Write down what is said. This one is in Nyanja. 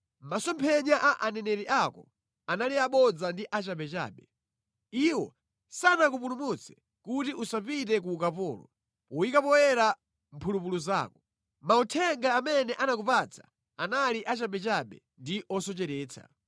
Masomphenya a aneneri ako anali abodza ndi achabechabe. Iwo sanakupulumutse kuti usapite ku ukapolo poyika poyera mphulupulu zako. Mauthenga amene anakupatsa anali achabechabe ndi osocheretsa.